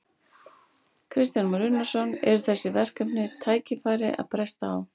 Kristján Már Unnarsson: Og eru þessi verkefni og tækifæri að bresta á?